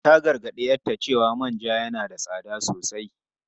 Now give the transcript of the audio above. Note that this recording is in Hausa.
Ta gargadi 'yarta cewa manja yana da tsada sosai.